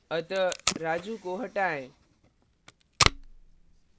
अतः raju को हटाएँ